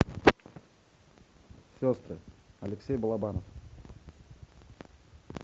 сестры алексей балабанов